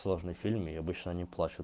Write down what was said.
сложный фильм и обычно они плачут